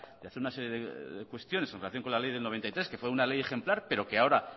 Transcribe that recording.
de hacer una serie de cuestiones en relación con la ley de mil novecientos noventa y tres que fue una ley ejemplar pero que ahora